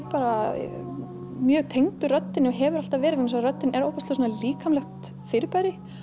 bara mjög tengdur röddinni og hefur alltaf verið vegna að röddin er ofboðslega svona líkamleg fyrirbæri